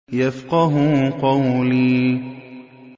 يَفْقَهُوا قَوْلِي